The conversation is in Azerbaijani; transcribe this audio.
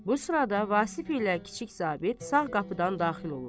Bu sırada Vasif ilə kiçik zabit sağ qapıdan daxil olur.